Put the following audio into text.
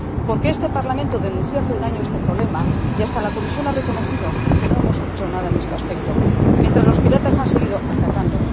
Porque este Parlamento denunció hace un año este problema, y hasta la Comisión ha reconocido que no hemos hecho nada en este aspecto, mientras que los piratas han seguido atacando.